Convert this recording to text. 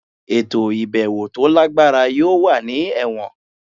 Eto ibẹwo to lagbara yoo wa ni Ẹwọn